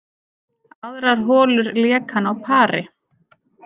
Aðrar holur lék hann á pari